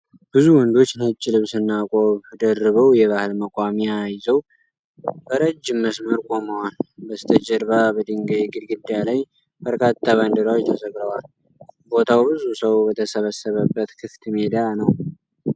ብዙ ወንዶች ነጭ ልብስና ቆብ ደርበው የባህል መቋሚያ የዘው በረጅም መስመር ቆመዋል። በስተጀርባ በድንጋይ ግድግዳ ላይ በርካታ ባንዲራዎች ተሰቅለዋል። ቦታው ብዙ ሰው በተሰበሰበበት ክፍት ሜዳ ነው።